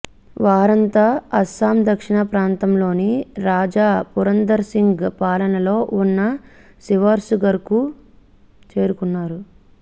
వారంతా అస్సాం దక్షిణ ప్రాంతంలోని రాజా పురందంర్ సింగ్ పాలనలో ఉన్న శివ్సాగర్కు చేరుకున్నారు